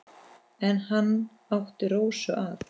En hann átti Rósu að.